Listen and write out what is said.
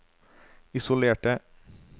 isolerte